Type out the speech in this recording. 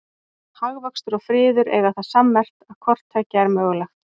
Hagvöxtur og friður eiga það sammerkt að hvort tveggja er mögulegt.